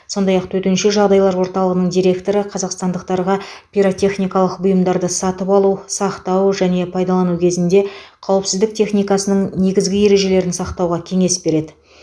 сондай ақ төтенше жағдайлар орталығының директоры қазақстандықтарға пиротехникалық бұйымдарды сатып алу сақтау және пайдалану кезінде қауіпсіздік техникасының негізгі ережелерін сақтауға кеңес береді